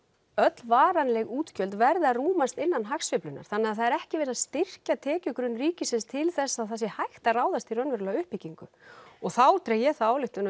öll varanleg útgjöld verði að rúmast innan hagsveiflunnar þannig að það er ekki verið að styrkja tekjugrunn ríkisins til þess að það sé hægt að ráðast í raunverulega uppbyggingu og þá dreg ég þá ályktun